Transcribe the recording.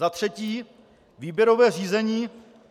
Za třetí: Výběrové řízení.